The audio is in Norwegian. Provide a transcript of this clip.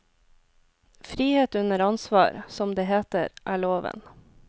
Frihet under ansvar, som det heter, er loven.